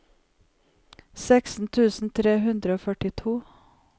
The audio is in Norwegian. seksten tusen tre hundre og førtito